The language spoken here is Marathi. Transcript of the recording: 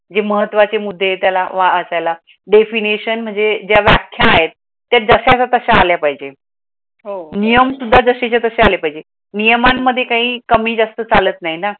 हे महत्त्वाचे मुद्दे त्याला वाचायला definition म्हणजे ज्या व्याख्या आहेत, त्या जशा च्या तशा आल्या पाहेजेत नीयम सुद्धा जशा चा तशा आल्या पाहीजेत, नीयमान मध्ये काही कमी जास्त चालत नाही ना